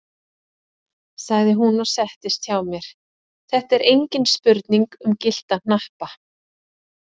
sagði hún og settist hjá mér, þetta er engin spurning um gyllta hnappa!